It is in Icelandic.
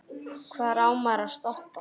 Hvar á maður að stoppa?